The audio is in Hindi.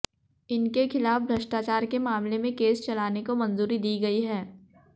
इनके खिलाफ भ्रष्टाचार के मामले में केस चलाने को मंजूरी दी गई है